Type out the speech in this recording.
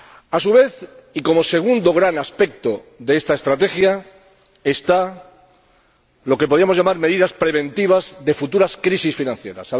A su vez, y como segundo gran aspecto de esta Estrategia, hay lo que podríamos llamar medidas preventivas de futuras crisis financieras.